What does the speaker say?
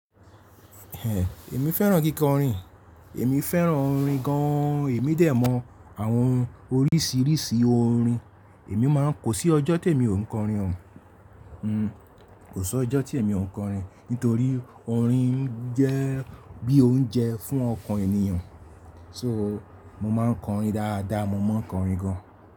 Ẹ̀, èmi fẹ́ràn kíkọrin, èmi fẹ́ràn orin gan-an, èmi dẹ̀ mọ àwọn oríṣiríṣi orin, èmi máa ń kò sí ọjọ́ tèmi ò ń kọrin o. Hmm, kò sí ọjọ́ tí èmi ò ń kọrin, nítorí orin ń jẹ́ bí oúnjẹ fún ọkàn ènìyàn. So, mo máa ń kọrin dáadáa, mo maa n kọrin gan.